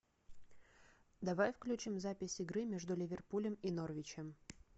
давай включим запись игры между ливерпулем и норвичем